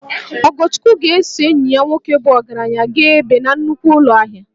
Ogochukwu ga-eso enyi ya nwoke bụ ogaranya gaa ebe na nnukwu ụlọ ahia